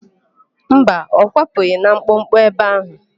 Mba, ọ kwapụghị na mkpọkpọ ebe áhụ̀.